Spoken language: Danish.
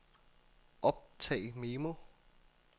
optag memo